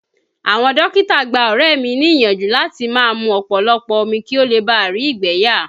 Àwọn dókítà gbá ọ̀rẹ́ mi ni ìyànjú láti máa mú ọ̀pọ̀lọpọ̀ omi kí ó bá rí ìgbẹ́ yà.